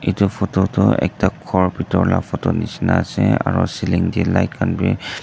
itu photo tu ekta khor bitor la photo nishina ase aru ceiling teh light khan bi--